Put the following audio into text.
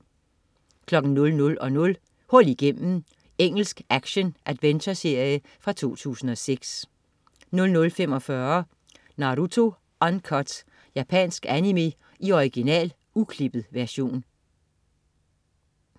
00.00 Hul igennem. Engelsk action-adventureserie fra 2006 00.45 Naruto Uncut. Japansk animé i original, uklippet version